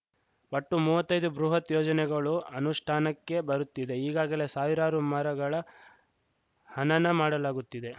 ಒಟ್ಟು ಮುವತ್ತೈದ್ದು ಬೃಹತ್‌ ಯೋಜನೆಗಳು ಅನುಷ್ಟಾನಕ್ಕೆ ಬರುತ್ತಿದೆ ಈಗಾಗಲೇ ಸಾವಿರಾರು ಮರಗಳ ಹನನ ಮಾಡಲಾಗುತ್ತಿದೆ